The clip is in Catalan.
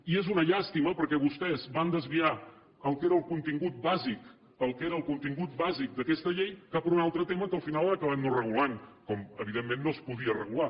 i és una llàstima perquè vostès van desviar el que era el contingut bàsic el que era el contingut bàsic d’aquesta llei cap a un altre tema que al final han acabat no regulant que evidentment no es podia regular